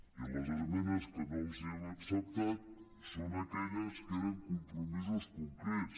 i les esmenes que no els hem acceptat són aquelles que eren a compromisos concrets